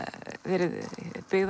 verið byggðar